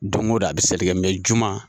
Don go don a be seli kɛ juma.